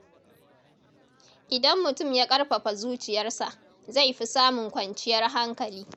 Idan mutum ya ƙarfafa zuciyarsa, zai fi samun kwanciyar hankali.